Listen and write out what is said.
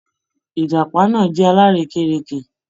Ìjàpá náà jẹ́ alárèékérekè.